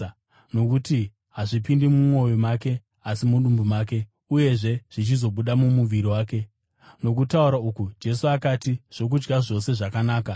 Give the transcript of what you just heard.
Nokuti hazvipindi mumwoyo make asi mudumbu make, uyezve zvichizobuda mumuviri wake.” Nokutaura uku, Jesu akati zvokudya zvose zvakanaka.